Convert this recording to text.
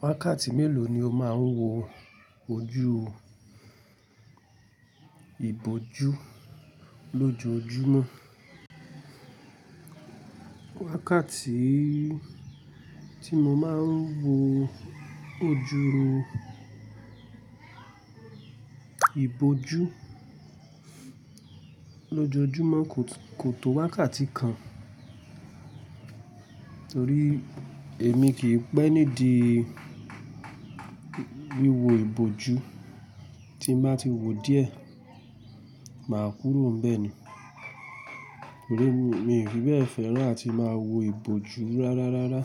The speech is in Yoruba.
Wákàtí mélòó ni o máa ń wo ojú ìbòjú lójoojúmọ́? Wákàtí tí mo máa ń wo ojú ìbòjú lójoojúmọ́ kò, kò tó wákàtí kan, torí èmi kì í pẹ́ nídi wíwo ìbòjú tí mba ti wò díẹ̀, màá kúró n bẹ ni. Torí mi ò fi bẹ́ẹ̀ fẹ́ràn àti máa wo ìbòjú rárárárá